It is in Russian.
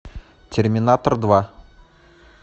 терминатор два